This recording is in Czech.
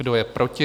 Kdo je proti?